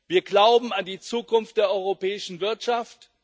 Wir glauben an die Zukunft der europäischen Wirtschaft.